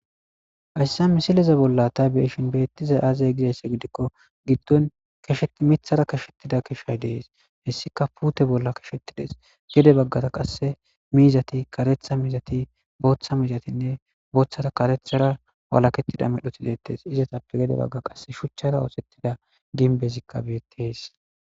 Hayssa misileze bolla tabiyeshin beettiza aazay gizaysse gidikko giddon kesheti mithara kashettida keshshay dees hessika puute bolla keshettides gede baggata qasse miizati karetha mizati booththa miizatinne booththata karethara walakettida medho sizettees izatappe gede bagga qasse shuchchara oosettida ginbezikka beettes